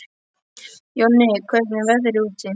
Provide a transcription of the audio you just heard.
Jonni, hvernig er veðrið úti?